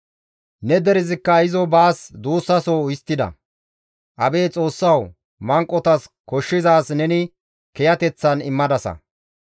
Ne derezikka izo baas duussaso histtida; abeet Xoossawu! Manqotas koshshizaaz neni kiyateththan immadasa.